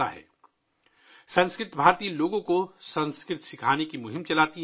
'سنسکرت بھارتی' لوگوں کو سنسکرت سکھانے کی مہم چلاتی ہے